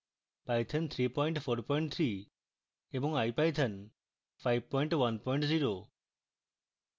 python 343 এবং ipython 510